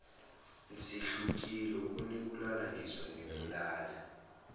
sehlulekile ukunibulala ngizonikhulula